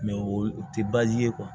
o tɛ ye